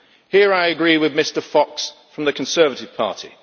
Here I agree with Mr Fox from the Conservative Party.